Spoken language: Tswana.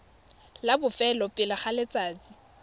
la bofelo pele ga letsatsi